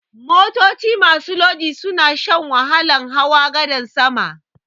Motoci masu lodi suna shan wahalan hawa gadan sama.